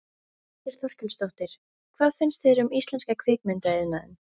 Þórhildur Þorkelsdóttir: Hvað finnst þér um íslenska kvikmyndaiðnaðinn?